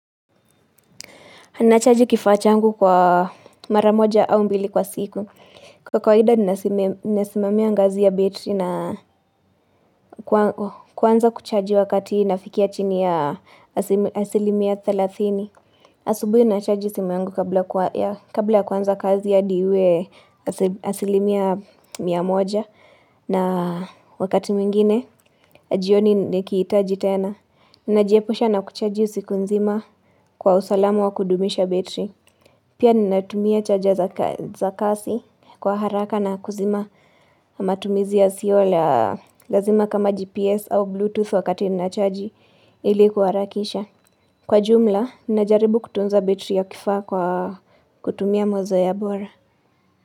Nachaji kifaa changu kwa mara moja au mbili kwa siku. Kwa kawaida nnasimem nnasimamia ngazi ya betri na kwa kwanza kuchaji wakati inafikia chini ya asim asilimia thelathini. Asubui nachaji simu yangu kabla kwa ea kabla ya kuanza kazi hadi iwe asim asilimia mia moja. Na wakati mwingine, jioni nikiitaji tena. Najiepusha na kuchaji usiku nzima kwa usalama wa kudumisha betri. Pia nnatumia charger za ka za kasi, kwa haraka na kuzima matumizi yasio la lazima kama GPS au Bluetooth wakati nnachaji, ili kuharakisha. Kwa jumla, nnajaribu kutunza betri ya kifaa kwa kutumia mazoea bora.